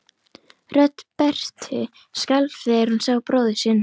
Rödd Berthu skalf þegar hún sá bróður sinn.